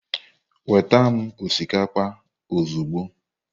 Weta m osikapa ozugbo.